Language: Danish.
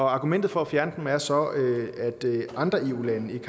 argumentet for at fjerne dem er så at andre eu lande